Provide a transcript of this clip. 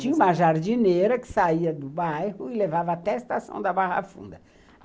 Tinha uma jardineira que saía do bairro e levava até a Estação da Barra Funda.